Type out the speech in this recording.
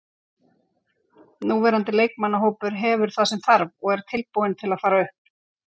Núverandi leikmannahópur hefur það sem þarf og er tilbúinn til að fara upp.